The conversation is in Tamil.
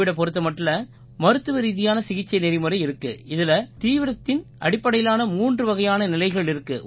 கோவிடைப் பொறுத்த மட்டில மருத்துவரீதியான சிகிச்சை நெறிமுறை இருக்கு இதில தீவிரத்தின் அடிப்படையிலான மூன்று வகையான நிலைகள் இருக்கு